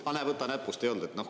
Aga näe, võta näpust: ei olnud.